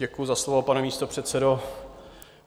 Děkuji za slovo, pane místopředsedo.